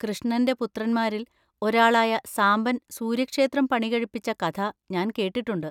കൃഷ്ണന്‍റെ പുത്രന്മാരിൽ ഒരാളായ സാംബൻ സൂര്യക്ഷേത്രം പണികഴിപ്പിച്ച കഥ ഞാൻ കേട്ടിട്ടുണ്ട്.